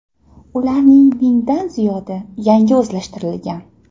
Ularning mingdan ziyodi yangi o‘zlashtirilgan.